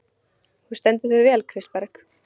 Þú stendur þig vel, Kristberg!